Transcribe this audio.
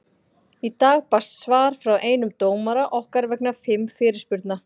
Í dag barst svar frá einum dómara okkar vegna fimm fyrirspurna.